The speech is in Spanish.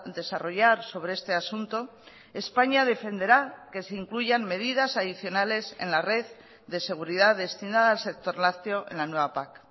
desarrollar sobre este asunto españa defenderá que se incluyan medidas adicionales en la red de seguridad destinada al sector lácteo en la nueva pac